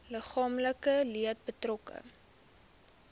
liggaamlike leed betrokke